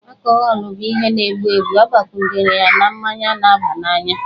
Akọhọlụ bụ ihe na-egbu egbu agbakwunyere na mmanya na-abananya